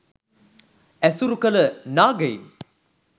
ඇසුරු කළ නාගයින්